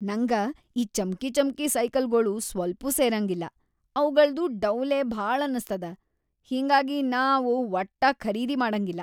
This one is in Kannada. ನಂಗ ಈ ಚಮ್ಕಿಚಮ್ಕಿ ಸೈಕಲ್‌ಗೊಳು ಸ್ವಲ್ಪೂ ಸೇರಂಗಿಲ್ಲಾ ಅವಗಳ್ದು ಡೌಲೇ ಭಾಳಂತನಸ್ತದ, ಹಿಂಗಾಗಿ ನಾ ಅವು ವಟ್ಟಾ ಖರೀದಿ ಮಾಡಂಗಿಲ್ಲಾ.